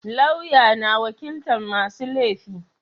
Lauya na wakilta masu laifi